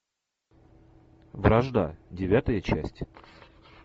вражда девятая часть